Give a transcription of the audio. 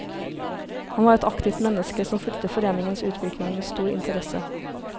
Han var et aktivt menneske som fulgte foreningens utvikling med stor interesse.